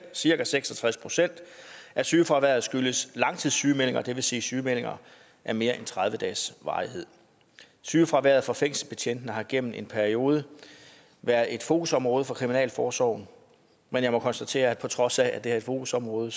cirka seks og tres procent af sygefraværet skyldes langtidssygemeldinger det vil sige sygemeldinger af mere end tredive dages varighed sygefraværet for fængselsbetjentene har gennem en periode været et fokusområde for kriminalforsorgen men jeg må konstatere at på trods af at det er et fokusområde